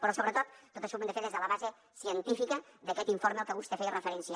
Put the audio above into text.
però sobretot tot això ho hem de fer des de la base científica d’aquest informe al que vostè feia referència